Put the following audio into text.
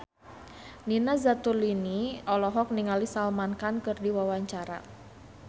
Nina Zatulini olohok ningali Salman Khan keur diwawancara